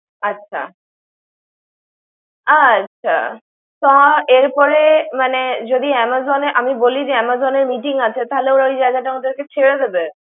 আচ্ছা। আচ্ছা। পা এর পরে মানে, যদি Amazon এ আমি বলি যে Amazon এর meeting আছে। থালে ওই জায়গা টা ওটা ওদেরকে ছেড়ে দেবে।